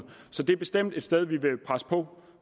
så det er bestemt et sted hvor vi vil presse på